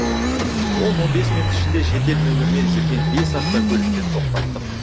он он бес минут ішінде шетел нөмірімен жүрген бес автокөлікті тоқтаттық